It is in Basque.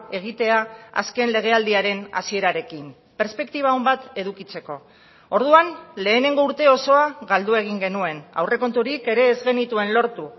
egitea azken legealdiaren hasierarekin perspektiba on bat edukitzeko orduan lehenengo urte osoa galdu egin genuen aurrekonturik ere ez genituen lortu